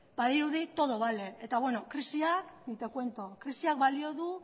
badirudi todo vale eta beno krisiak ni te cuento krisiak balio du